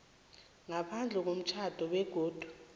ngaphandle komtjhado begodu